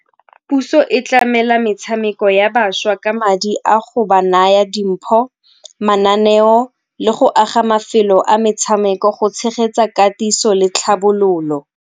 Puso e tlamela metshameko ya bašwa ka madi a go ba naya dimpho, mananeo le go aga mafelo a metshameko go tshegetsa katiso le tlhabololo.